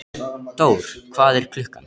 Dór, hvað er klukkan?